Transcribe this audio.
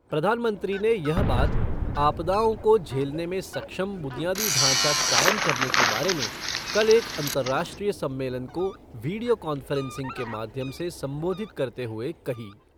प्रधानमंत्री ने यह बात आपदाओं को झेलने में सक्षम बुनियादी ढांचा कायम करने के बारे में कल एक अंतर्राष्ट्रीय सम्मेलन को वीडियो कॉन्फ़्रेन्सिंग के माध्यम से संबोधित करते हुए कही।